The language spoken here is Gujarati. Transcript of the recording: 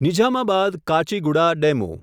નિઝામાબાદ કાચેગુડા ડેમુ